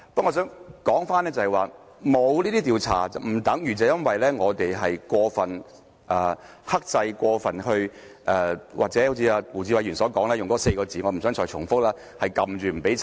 我認為沒有這些調查，不等於因為我們過分克制或好像胡志偉議員所說的那4個字——我不想重複——是壓制着不許調查。